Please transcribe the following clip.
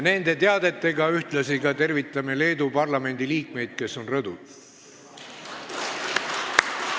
Nende teadetega tervitame ühtlasi Leedu parlamendi liikmeid, kes on rõdul.